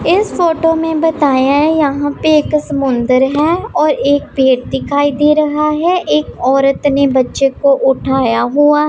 इस फोटो में बताया है यहां पर एक समुंदर हैं और एक व्यक्ति दिखाई दे रहा हैं एक औरत ने बच्चों को उठाया हुआ--